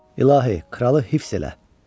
İlahi, kralı hifz elə.